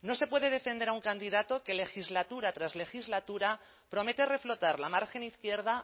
no se puede defender a un candidato que legislatura tras legislatura promete reflotar la margen izquierda